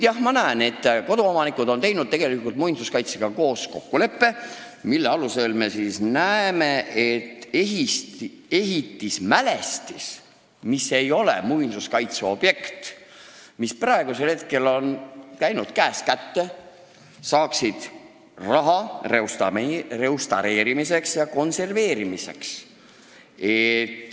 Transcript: Praegu ma näen, et koduomanikud on teinud muinsuskaitsega kokkuleppe, mille alusel ehitismälestis, mis ei ole muinsuskaitse objekt, mis praegusel hetkel on käinud käest kätte, saaksid raha restaureerimiseks ja konserveerimiseks.